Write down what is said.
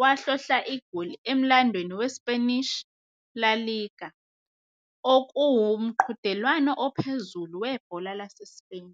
wahlohla igoli emlandweni weSpanish La Liga, okuwumqhudelwano ophezulu webhola laseSpain.